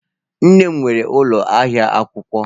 Nne m nwere ụlọ ahịa akwụkwọ.